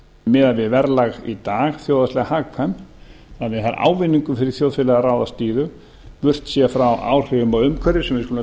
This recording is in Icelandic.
miðað við verðlag í dag þjóðhagslega hagkvæmt þannig að ávinningur fyrir þjóðfélagið að ráðast í þau burtséð frá áhrifum af umhverfi sem við skulum